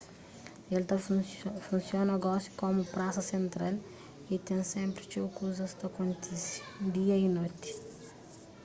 el ta funsiona gosi komu prasa sentral y ten sénpri txeu kuzas ta kontise dia y noti